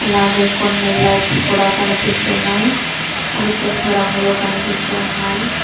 అలాగే కొన్ని లైట్స్ కూడా కనిపిస్తున్నాయి అవి తెలుపు రంగులో కనిపిస్తూ ఉన్నాయి.